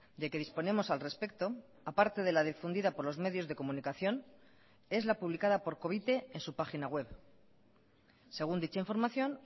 de que disponemos al respecto aparte de la difundida por los medios de comunicación es la publicada por covite en su página web según dicha información